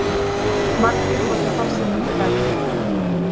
Margir nota farsímann á ferð